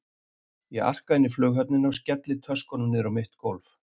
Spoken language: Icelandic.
Ég arka inn í Flughöfnina og skelli töskunum niður á mitt gólf.